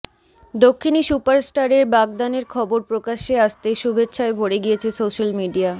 দক্ষিণী সুপারস্টারের বাগদানের খবর প্রকাশ্যে আসতেই শুভেচ্ছায় ভরে গিয়েছে সোশ্যাল মিডিয়া